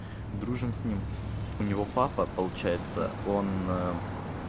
дружим с ним у него папа получается он э